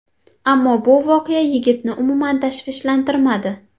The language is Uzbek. Ammo bu voqea yigitni umuman tashvishlantirmadi.